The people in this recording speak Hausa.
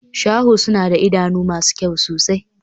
Shaho suna da idanu masu kyau sosai.